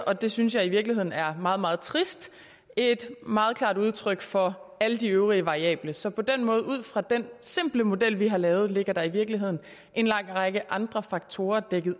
og det synes jeg i virkeligheden er meget meget trist et meget klart udtryk for alle de øvrige variable så på den måde og ud fra den simple model vi har lavet ligger der i virkeligheden en lang række andre faktorer bagved